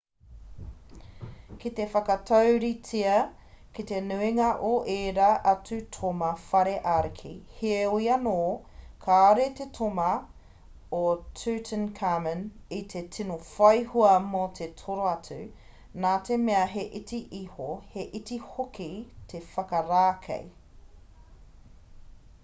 ki te whakatauritea ki te nuinga o ērā atu toma whare ariki heoi anō kāore te toma o tutankhamun i te tino whai hua mō te toro atu nā te mea he iti iho he iti hoki te whakarākei